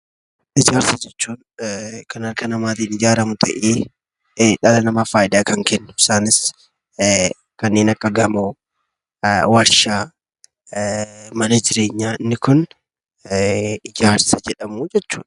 Ijaarsa jechuun kan harka dhala namaan ijaaramu. Isaanis kanneen akka gamoo, warshaa, mana jireenyaa. Inni kun ijaarsa jedhamu jechuudha.